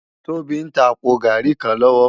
Tobi n tá àpó gàrí kán lòwò